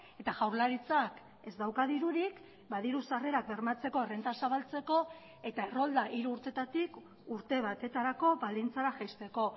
eta jaurlaritzak ez dauka dirurik ba diru sarrerak bermatzeko errenta zabaltzeko eta errolda hiru urtetatik urte batetarako baldintzara jaisteko